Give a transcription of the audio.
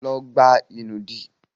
Lọ gbá ìnùdí!